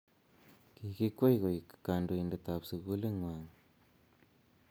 kikikwei koeku kantoide ab sukulit ngwag